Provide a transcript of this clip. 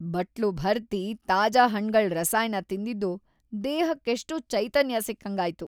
ಬಟ್ಲು ಭರ್ತಿ ತಾಜಾ ಹಣ್ಗಳ್‌ ರಸಾಯನ ತಿಂದಿದ್ದು ದೇಹಕ್ಕೆಷ್ಟೋ ಚೈತನ್ಯ ಸಿಕ್ಕಂಗಾಯ್ತು.